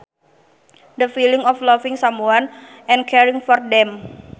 The feeling of loving someone and caring for them